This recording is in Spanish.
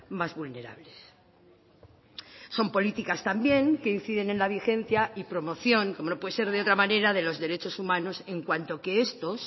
más vulnerables son políticas también que inciden en la vigencia y promoción como no puede ser de otra manera de los derechos humanos en cuanto que estos